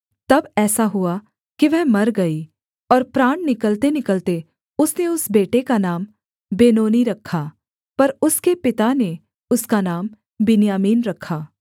तब ऐसा हुआ कि वह मर गई और प्राण निकलतेनिकलते उसने उस बेटे का नाम बेनोनी रखा पर उसके पिता ने उसका नाम बिन्यामीन रखा